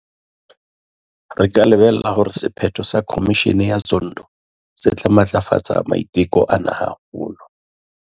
Re ka lebella hore sephetho sa Khomishene ya Zondo se tla matlafatsa maiteko ana haholo.